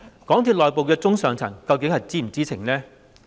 港鐵公司內部的中、上層究竟是否知情呢？